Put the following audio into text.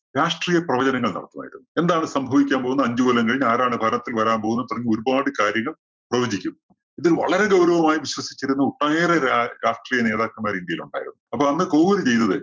രാഷ്ട്രീയ പ്രവചനങ്ങൾ നടത്തുമായിരുന്നു. എന്താണ് സംഭവിക്കാൻ പോകുന്നത്? അഞ്ചു കൊല്ലം കഴിഞ്ഞ് ആരാണ് ഭരണത്തില്‍ വരാന്‍ പോകുന്നത് തുടങ്ങി ഒരുപാട് കാര്യങ്ങൾ പ്രവചിക്കും. ഇതിൽ വളരെ ഗൗരവമായി വിശ്വസിച്ചിരുന്ന ഒട്ടനേറെ രാ~രാഷ്ട്രീയനേതാക്കന്‍മാര് ഇന്ത്യയിലുണ്ടായിരുന്നു. അപ്പോ അന്ന് കോവൂര് ചെയ്തത്